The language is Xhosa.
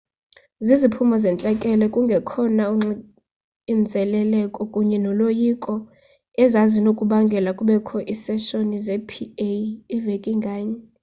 ziziphumo zentlekele kungekhona uxinzeleleko kunye noloyiko ezazinokubangela kubekho iiseshoni ze-pa veki nganye